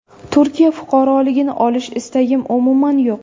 Turkiya fuqaroligini olish istagim umuman yo‘q.